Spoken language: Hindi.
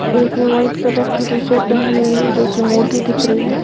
एक ने व्हाइट कलर की टी शर्ट पहनी हुई है जो की मोटी दिख रही है।